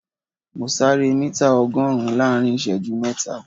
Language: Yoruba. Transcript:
Mo sáré mítà ọgọ́rùn-ún láàrin ìṣẹ́jú mẹ́ta